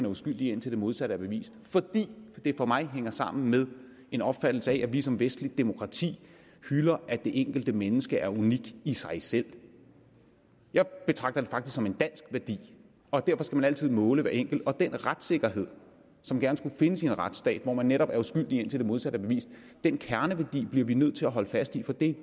uskyldig indtil det modsatte er bevist fordi det for mig hænger sammen med en opfattelse af at vi som vestligt demokrati hylder at det enkelte menneske er unikt i sig selv jeg betragter det faktisk som en dansk værdi og derfor skal man altid måle hver enkelt den retssikkerhed som gerne skulle findes i en retsstat hvor man netop er uskyldig indtil det modsatte er bevist den kerneværdi bliver vi nødt til at holde fast i for det er